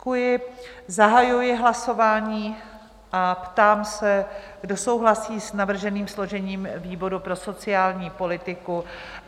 Zahajuji hlasování a ptám se, kdo souhlasí s navrženým složením výboru pro sociální politiku?